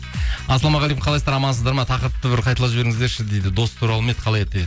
ассалаумағалейкум қалайсыздар амансыздар ма тақырыпты бір қайталап жіберіңіздерші дейді дос туралы емес қалай еді